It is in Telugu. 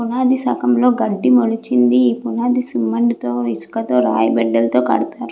పునాది సగం లో గడ్డి మొలిచింది ఈ పునాది సిమెంట్ తో ఇసక తో రాయి బెడ్డల్తో కడతారు.